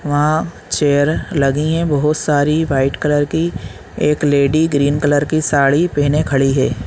वहाँ चेयर लगी है बहुत सारी व्हाइट कलर की एक लेडी ग्रीन कलर की साड़ी पहने खड़ी हैं।